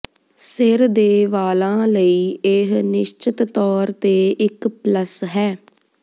ਸਿਰ ਦੇ ਵਾਲਾਂ ਲਈ ਇਹ ਨਿਸ਼ਚਤ ਤੌਰ ਤੇ ਇੱਕ ਪਲੱਸ ਹੈ